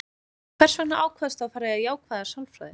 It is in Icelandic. Hvers vegna ákvaðstu að fara í jákvæða sálfræði?